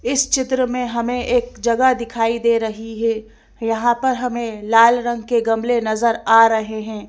इस चित्र में हमें एक जगह दिखाई दे रही है यहां पर हमें लाल रंग के गमले नजर आ रहे हैं।